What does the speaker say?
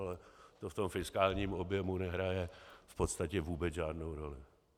Ale to v tom fiskálním objemu nehraje v podstatě vůbec žádnou roli.